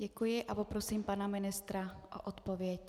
Děkuji a poprosím pana ministra o odpověď.